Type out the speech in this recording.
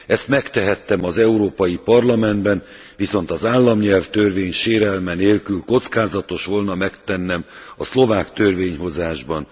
Ezt megtehettem az Európai Parlamentben, viszont az államnyelvtörvény sérelme nélkül kockázatos volna megtennem a szlovák törvényhozásban.